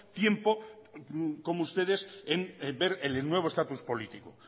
tiempo como ustedes en ver el nuevo estatus político